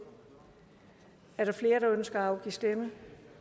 er der flere der ønsker at afgive stemme